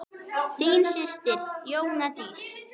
Þín systir Jóna Dísa.